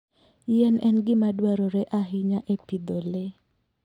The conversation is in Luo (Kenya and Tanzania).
yien en gima dwarore ahinya e pidho le.